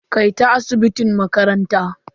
Kai ta asibitin makaranta.